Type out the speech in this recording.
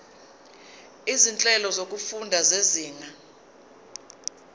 izinhlelo zokufunda zezinga